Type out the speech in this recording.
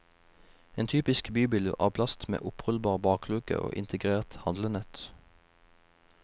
En typisk bybil, av plast, med opprullbar bakluke og integrert handlenett.